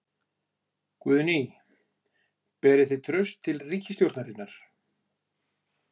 Guðný: Berið þið traust til ríkisstjórnarinnar?